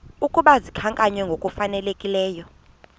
ukuba zikhankanywe ngokufanelekileyo